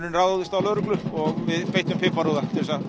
ráðist á lögreglu og við beittum úða